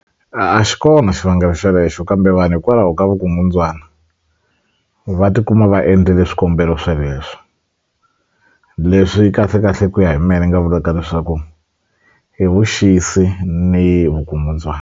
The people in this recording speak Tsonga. A a xi kona xivangelo xelexo kambe vanhu hikwalaho ka vukungundzwani va tikuma va endlile swikombelo sweleswo leswi kahlekahle ku ya hi me ni nga vulaka leswaku i vuxisi ni vukungundzwani.